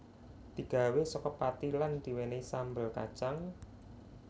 Digawé saka pati lan diwenehi sambel kacang